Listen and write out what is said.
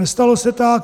Nestalo se tak.